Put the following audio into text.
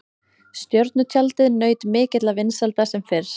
Stjörnutjaldið naut mikilla vinsælda sem fyrr.